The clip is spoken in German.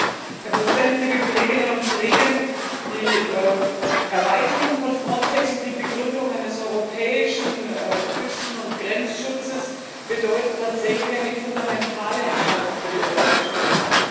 Herr Präsident, liebe Kolleginnen und Kollegen! Die Erweiterung von Frontex und die Begründung eines europäischen Küsten und Grenzschutzes bedeuten tatsächlich eine fundamentale Entscheidung für die Europäische Union.